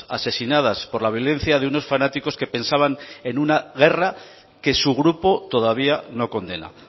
asesinadas por la violencia de unos fanáticos que pensaban en una guerra que su grupo todavía no condena